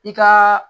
I ka